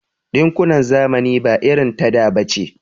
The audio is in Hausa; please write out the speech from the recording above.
Ɗinkunan zamani ba irin ta da bace.